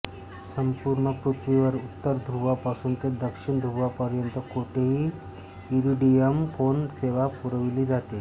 संपूर्ण पृथ्वीवर उत्तर ध्रुवापासून ते दक्षिण ध्रुवापर्यंत कोठेही इरिडियम फोन सेवा पुरविली जाते